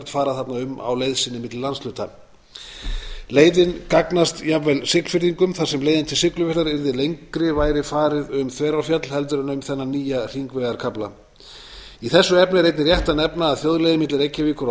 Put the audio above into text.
fara þarna um á leið sinni milli landshluta leiðin gagnast jafnvel siglfirðingum þar sem leiðin til siglufjarðar yrði lengri væri farið um þverárfjall heldur en um þennan nýja hringvegarkafla í þessu efni er einnig rétt að nefna að þjóðleiðin milli reykjavíkur og